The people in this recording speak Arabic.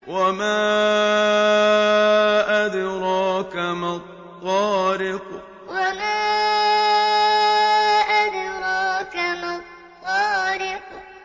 وَمَا أَدْرَاكَ مَا الطَّارِقُ وَمَا أَدْرَاكَ مَا الطَّارِقُ